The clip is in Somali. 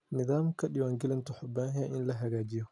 Nidaamka diiwaangelinta wuxuu u baahan yahay in la hagaajiyo.